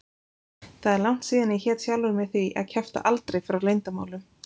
Það er langt síðan ég hét sjálfri mér því að kjafta aldrei frá leyndarmálum.